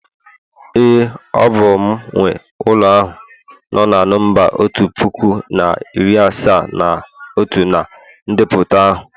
ee, ọ bụ m nwe ulo ahu no na nọmba otu puku na iri asaa na otu na ndepụta ahụ